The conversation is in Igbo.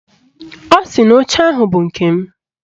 Ọ sị na oche ahụ bụ nke m